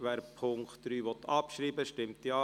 Wer den Punkt 3 abschreiben will, stimmt Ja,